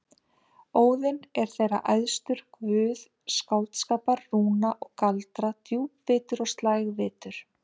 Óðinn er þeirra æðstur, guð skáldskapar, rúna og galdra, djúpvitur og slægvitur.